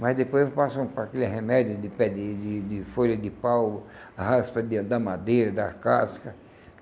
mas depois passam para aquele remédio de pé de de de folha de pau, raspa de da madeira, da casca.